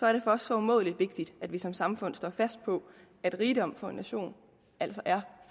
er det for os så umådelig vigtigt at vi som samfund står fast på at rigdom for en nation altså er